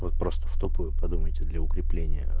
вот просто в тупую подумайте для укрепления